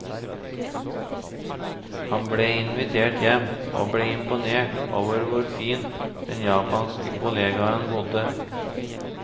Han ble invitert hjem, og ble imponert over hvor fint den japanske kollegaen bodde.